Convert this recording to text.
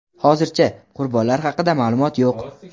Hozircha, qurbonlari haqida ma’lumot yo‘q.